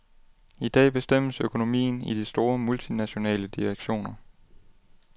I dag bestemmes økonomien i de store, multinationale direktioner.